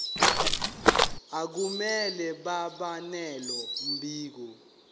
akumele babenalo mbiko